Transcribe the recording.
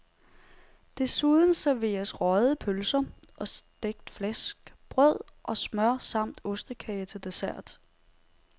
Desuden serveres røgede pølser og stegt flæsk, brød og smør, samt ostekage til dessert.